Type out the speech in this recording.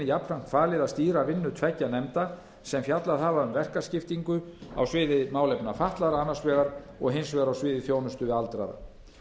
jafnframt falið að stýra vinnu tveggja nefnda sem fjallað hafa um verkaskiptingu á sviði málefna fatlaðra annars vegar og hins vegar á sviði þjónustu við aldraða hinn